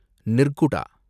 Nirguda